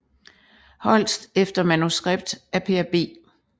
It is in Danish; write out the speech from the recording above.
Holst efter manuskript af Per B